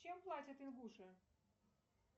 чем платят ингуши